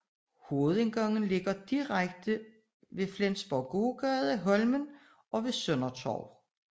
Hovedindgangen ligger direkte ved Flensborgs gågade Holmen og ved Søndertorvet